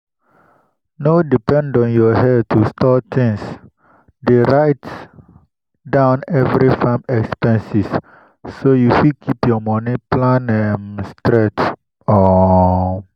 no depend on your headto store tins dey write down every farm expenses so you fit keep your money plan um straight. um